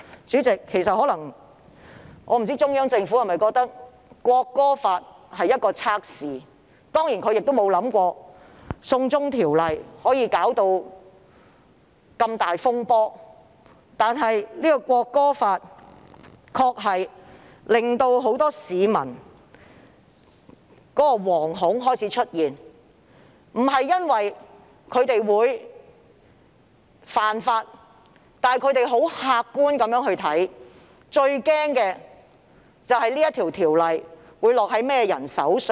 主席，我不知道中央政府把港區國安法視作一種測試，我也沒有想到"送中條例"會引發這麼大的風波，但港區國安法確實令很多市民感到惶恐，不是因為他們會犯法，而是他們很客觀地擔憂港區國安法會落在甚麼人手上？